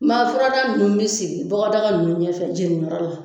Ma furadaa nunnu be sigi bɔgɔdaa nunnu ɲɛfɛ jeniyɔrɔ la